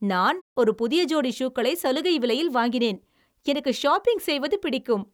நான் ஒரு புதிய ஜோடி ஷூக்களை சலுகை விலையில் வாங்கினேன்! எனக்கு ஷாப்பிங் செய்வது பிடிக்கும்!